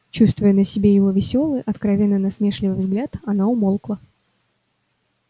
чувствуя на себе его весёлый откровенно насмешливый взгляд она умолкла